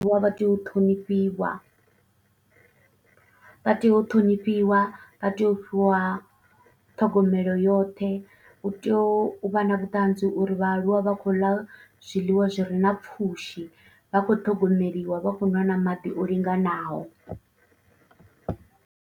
Vhaaluwa vha tea u ṱhonifhiwa vha tea u ṱhonifhiwa vha tea u fhiwa ṱhogomelo yoṱhe, utea uvha na vhuṱanzi uri vhaaluwa vha khou ḽa zwiḽiwa zwire na pfhushi vha kho ṱhogomeliwa vha khou nwa na maḓi o linganaho.